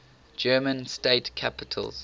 german state capitals